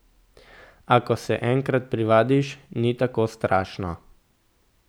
A, ko se enkrat privadiš, ni tako strašno.